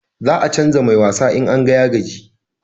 Za a canja mai wasa in an ga ya gaji